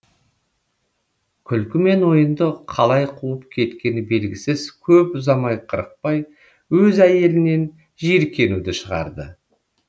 күлкі мен ойынды қалай қуып кеткені белгісіз көп ұзамай қырықбай өз әйелінен жиіркенуді шығарды